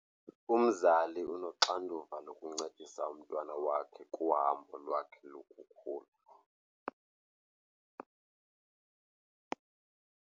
Umzali unoxanduva lokuncedisa umntwana wakhe kuhambo lwakhe lokukhula.